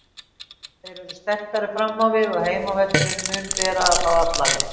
Þeir eru sterkari fram á við og heimavöllurinn mun bera þá alla leið.